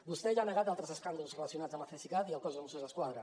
vostè ja ha negat altres escàndols relacionats amb el cesicat i el cos de mossos d’esquadra